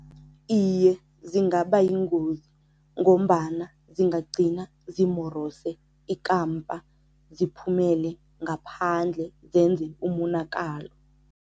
Iye, zingaba yingozi ngombana zingagcina zimorose ikampa, ziphumele ngaphandle zenze umonakalo.